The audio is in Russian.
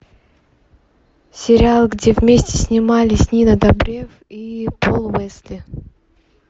сериал где вместе снимались нина добрев и пол уэсли